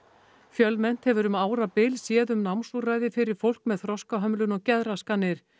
fjölmennt hefur um árabil séð um námsúrræði fyrir fólk með þroskahömlun og geðraskanir